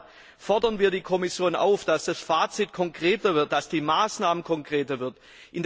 Deshalb fordern wir von der Kommission, dass das Fazit konkreter wird, dass die Maßnahmen konkreter werden.